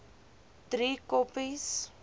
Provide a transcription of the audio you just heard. driekoppies